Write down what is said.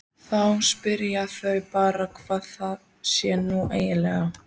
spyr amma eftir að hafa sagt nokkur huggunarorð.